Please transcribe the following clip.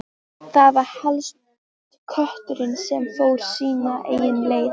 Það var helst kötturinn sem fór sínar eigin leiðir.